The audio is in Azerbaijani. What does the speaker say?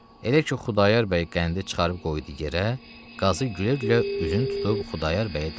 Elə ki Xudayar bəy qəndi çıxarıb qoydu yerə, qazı gülə-gülə üzünü tutub Xudayar bəyə dedi: